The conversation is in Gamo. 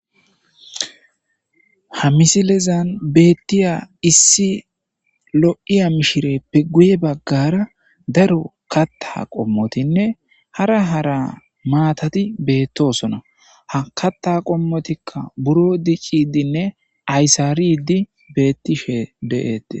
Ha misilezani bettiya lo'iya mishireppe guye baggara darro katha qommoti betosona. He kathatikka buro diccishenne ayisariddi deyosona.